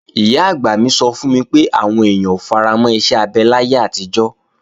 Ìyá-àgbà mi sọ fún mi pé, àwọn èèyàn ò faramọ́ iṣẹ́ abẹ láyé àtijọ́